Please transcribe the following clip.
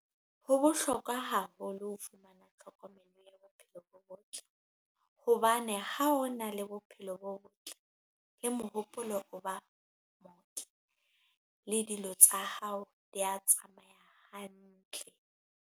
Ho bohlokwa haholo ho fumana tlhokomelo ya bophelo bo botle, hobane ha o na le bophelo bo botle le mohopolo o ba motle le dilo tsa hao di a tsamaya hantle.